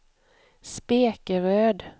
Spekeröd